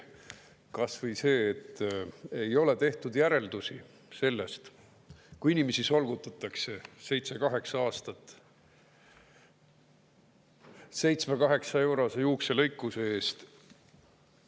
Kas või see, et ei ole tehtud järeldusi sellest, kui inimesi solgutatakse seitse kuni kaheksa aastat 7–8-eurose juukselõikuse eest.